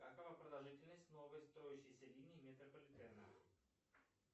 какова продолжительность новой строящейся линии метрополитена